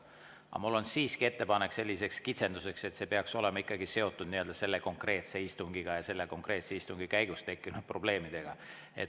Aga mul on siiski ettepanek selliseks kitsenduseks, et see peaks olema ikkagi seotud selle konkreetse istungiga, selle konkreetse istungi käigus tekkinud probleemidega.